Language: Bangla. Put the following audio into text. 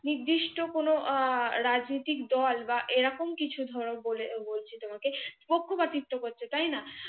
নির্দিষ্ট কোনো আহ রাজনৈতিক দল বা এরকম কিছু ধর বলে বলছি তোমাকে পক্ষ পাতিত্ব করছে তাই না?